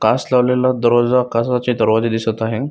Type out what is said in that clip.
काच लावलेला दरवाजा काचाचे दरवाजे दिसत आहे.